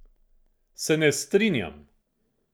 Se ne strinjam.